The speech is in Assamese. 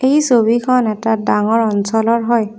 এই ছবিখন এটা ডাঙৰ অঞ্চলৰ হয়।